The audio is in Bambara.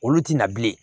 Olu tɛ na bilen